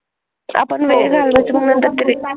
आपण वेळ घालवत मग नंतर ते,